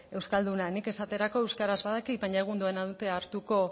euskalduna nik esaterako euskaraz badakit baina egun ez nau hartuko